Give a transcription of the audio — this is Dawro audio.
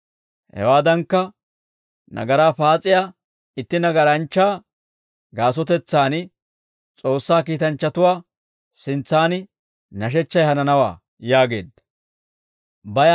Hewaadankka nagaraa paas'iyaa itti nagaranchchaa gaasotetsaan S'oossaa kiitanchchatuwaa sintsan nashechchay hananawaa» yaageedda.